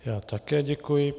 Já také děkuji.